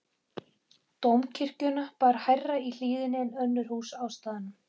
Dómkirkjuna bar hærra í hlíðinni en önnur hús á staðnum.